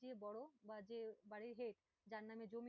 যে বড়ো বা যে বাড়ির head যার নাম